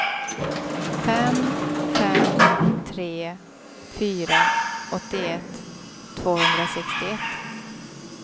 fem fem tre fyra åttioett tvåhundrasextioett